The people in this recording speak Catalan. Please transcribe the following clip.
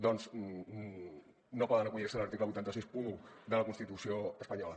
doncs no poden acollir se a l’article vuit cents i seixanta un de la constitució espanyola